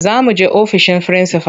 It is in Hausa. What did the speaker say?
Za muje ofishin frinsifal.